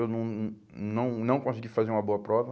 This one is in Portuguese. Eu não não não consegui fazer uma boa prova.